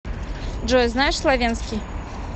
джой знаешь словенский